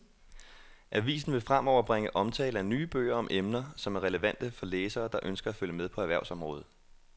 Avisen vil fremover bringe omtale af nye bøger om emner, som er relevante for læsere, der ønsker at følge med på erhvervsområdet.